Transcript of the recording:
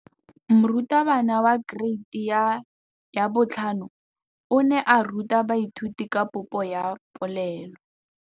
Moratabana wa kereiti ya 5 o ne a ruta baithuti ka popô ya polelô.